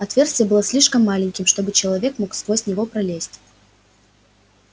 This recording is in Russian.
отверстие было слишком маленьким чтобы человек мог сквозь него пролезть